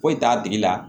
Foyi t'a tigi la